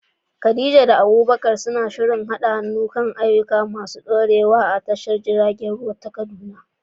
Khadija da Abubakar suna shirin haɗa hannu kan ayyuka masu ɗorewa a tashar jiragen ruwa ta Kaduna.